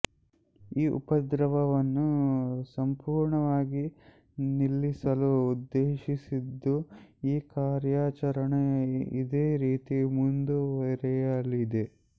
ಈ ಉಪದ್ರವವನ್ನು ಸಂಪೂರ್ಣವಾಗಿ ನಿಲ್ಲಿಸಲು ಉದ್ದೇಶಿಸಿದ್ದು ಈ ಕಾರ್ಯಾಚರಣೆ ಇದೇ ರೀತಿ ಮುಂದುವರೆಯಲಿದೆ